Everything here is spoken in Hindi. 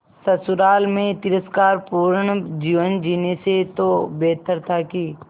ससुराल में तिरस्कार पूर्ण जीवन जीने से तो बेहतर था कि